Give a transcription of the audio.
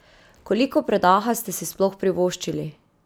Koliko predaha ste si sploh privoščili?